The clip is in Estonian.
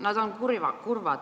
Nad on kurvad.